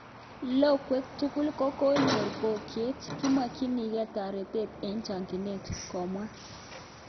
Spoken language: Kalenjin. logwet tugul koknyor poykiet, kimakininge taretat en chakinet,"komwa